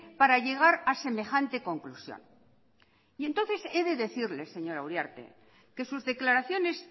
para llegar a semejante conclusión entonces he de decirle señora uriarte que sus declaraciones